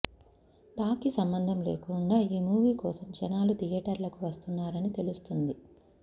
talk కి సంబంధం లేకుండా ఈ మూవీ కోసం జనాలు థియేటర్లకు వస్తున్నారని తెలుస్తుంది